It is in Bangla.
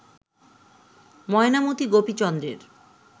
ময়নামতি গোপীচন্দ্রের